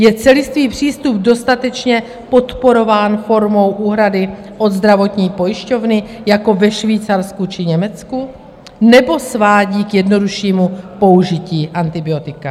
Je celistvý přístup dostatečně podporován formou úhrady od zdravotní pojišťovny jako ve Švýcarsku či Německu, nebo svádí k jednoduššímu použití antibiotik?